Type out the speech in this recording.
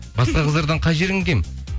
басқа қыздардан қай жерің кем